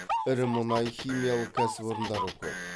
ірі мұнай химиялық кәсіпорындары көп